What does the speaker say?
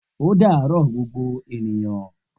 O daro gbogbo ènìyàn